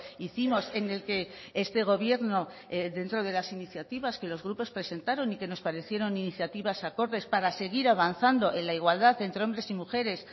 hicimos en el que este gobierno dentro de las iniciativas que los grupos presentaron y que nos parecieron iniciativas acordes para seguir avanzando en la igualdad entre hombres y mujeres